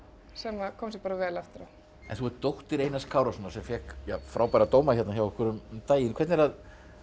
sem kom sér bara vel eftir á en þú ert dóttir Einars Kárasonar sem fékk frábæra dóma hérna hjá okkur um daginn hvernig er að